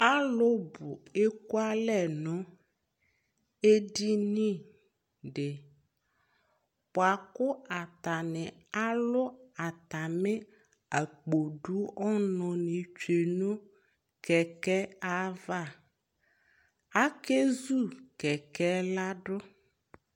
Alʋ ekualɛ nʋ edini dɩ bʋa kʋ atanɩ alʋ atamɩ akpo dʋ ɔnʋnɩ tsue nʋ kɛkɛbava ; akezu kɛkɛɛ ladʋ